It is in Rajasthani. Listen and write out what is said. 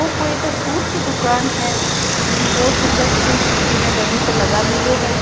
ओ कोई के सूट की दुकान है जिमे बहुत सुंदर सूट बीने डमी पर लगा मेल्यो है।